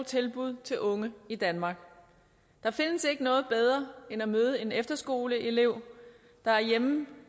tilbud til unge i danmark der findes ikke noget bedre end at møde en efterskoleelev der er hjemme